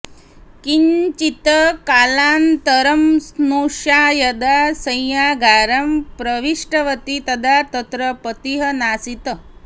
किञ्चित् कालानन्तरं स्नुषा यदा शय्यागारं प्रविष्टवती तदा तत्र पतिः नासीत्